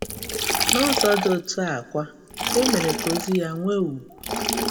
N’ụzọ dị etu a a kwa, e mere ka ozi ya nwee ugwu.